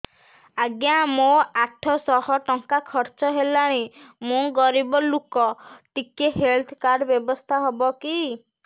ଆଜ୍ଞା ମୋ ଆଠ ସହ ଟଙ୍କା ଖର୍ଚ୍ଚ ହେଲାଣି ମୁଁ ଗରିବ ଲୁକ ଟିକେ ହେଲ୍ଥ କାର୍ଡ ବ୍ୟବସ୍ଥା ହବ କି